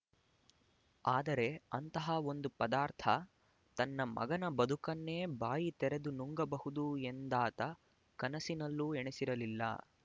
ಆದರೆ ಅಂತಹ ಒಂದು ಪದಾರ್ಥ ತನ್ನ ಮಗನ ಬದುಕನ್ನೇ ಬಾಯಿ ತೆರೆದು ನುಂಗಬಹುದು ಎಂದಾತ ಕನಸಿನಲ್ಲೂ ಎಣಿಸಿರಲಿಲ್ಲ